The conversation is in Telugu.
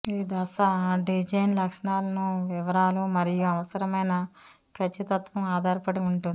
ఈ దశ డిజైన్ లక్షణాలను వివరాలు మరియు అవసరమైన ఖచ్చితత్వం ఆధారపడి ఉంటుంది